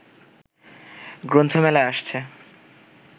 গ্রন্থমেলায় আসছে